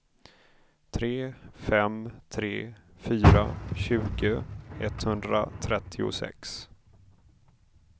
tre fem tre fyra tjugo etthundratrettiosex